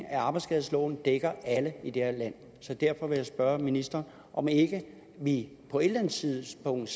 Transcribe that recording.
at arbejdsskadeloven dækker alle i det her land så derfor vil jeg spørge ministeren om ikke vi på et eller andet tidspunkt